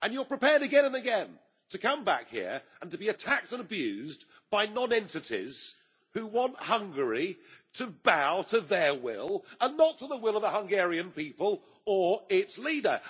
You are prepared again and again to come back here and to be attacked and abused by non entities who want Hungary to bow to their will, and not to the will of the Hungarian people or its leader.